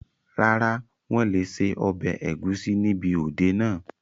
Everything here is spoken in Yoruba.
Rárá, wọn lé ṣe ọbẹ̀ ẹ̀gúsí níbi òde náà